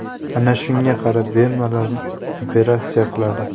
Ana shunga qarab bemalol operatsiya qiladi.